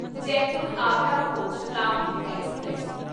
Jaipur Agra fort Shatabdi express